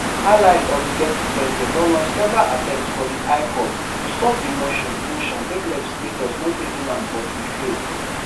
allies of di deputy president don launch several attempts for di high court to stop di motion motion make legislators no table am but e fail.